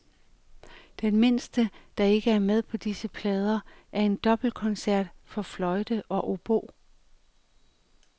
Den midterste, der ikke er med på disse plader, er en dobbeltkoncert for fløjte og obo.